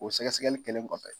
O sɛgɛsɛgɛli kɛlen kɔfɛ